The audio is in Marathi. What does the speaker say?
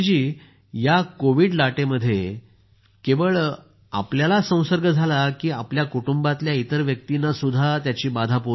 या कोविड लाटेत केवळ आपल्याला संसर्ग झाला की आपल्या कुटुंबांतल्या इतर व्यक्तीनांही त्याची बाधा पोहोचली